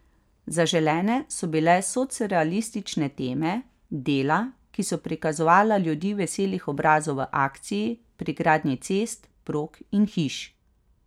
Zaželene so bile socrealistične teme, dela, ki so prikazovala ljudi veselih obrazov v akciji, pri gradnji cest, prog in hiš.